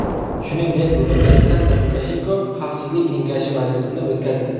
Shuningdek, bugun Aleksandr Lukashenko xavfsizlik kengashi majlisini o‘tkazdi.